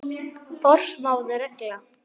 Forsmáð regla.